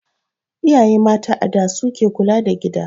Iyaye mata a da su ke kula da gida